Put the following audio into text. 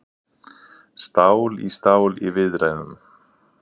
Stál í stál í viðræðum